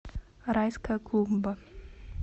райская клумба